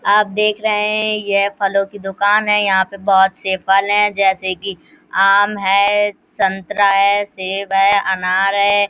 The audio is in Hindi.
आप देख रहे हैं ये फलों की दूकान है। यहाँ पर बहुत से फल हैं जैसे कि आम है संतरा है सेब हैअनार है।